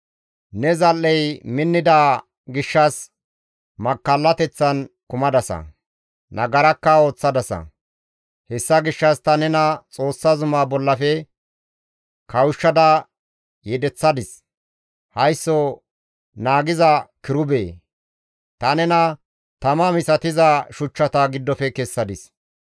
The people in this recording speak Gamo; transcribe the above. Ne zal7ey minnida gishshas, makkallateththan kumadasa; nagarakka ooththadasa. Hessa gishshas ta nena Xoossa zuma bollafe kawushshada yedeththadis; haysso naagiza kirubee! ta nena tama misatiza shuchchata giddofe kessadis.